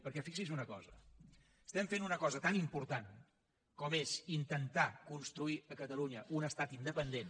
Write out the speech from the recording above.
perquè fixi’s en una cosa estem fent una cosa tan important com és intentar construir a catalunya un estat independent